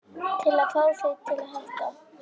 Til að fá þig til að hætta.